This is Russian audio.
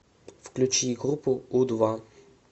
включи группу у два